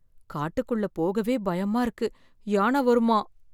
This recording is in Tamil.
காட்டுக்குள்ள போகவே பயமா இருக்கு யான வருமாம்.